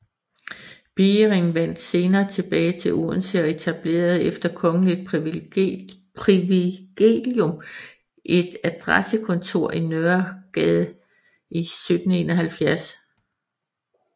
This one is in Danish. Biering vendte senere tilbage til Odense og etablerede efter kongeligt privilegium et adressekontor i Nørregade i 1771